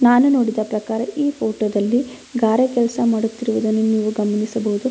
ಇಲ್ಲಿ ಮರಗಳಿವೆ ಮಣ್ಣಿನ ಗುಡ್ಡಗಳು ಕೂಡ ಇವೆ.